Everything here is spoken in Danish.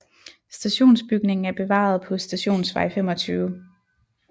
Stationsbygningen er bevaret på Stationsvej 25